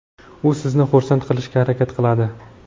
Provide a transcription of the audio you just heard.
u sizni xursand qilishga harakat qiladi.